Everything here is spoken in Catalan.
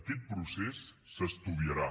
aquest procés s’estudiarà